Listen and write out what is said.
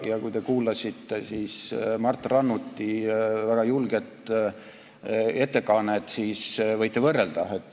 Kui te kuulasite Mart Rannuti väga julget ettekannet, siis võite võrrelda.